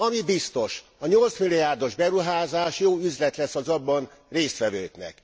Ami biztos, a 8 milliárdos beruházás jó üzlet lesz az abban résztvevőknek.